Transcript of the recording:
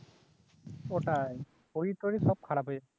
ওটায় শরীর টোরির সব খারাপ হয়ে যাবে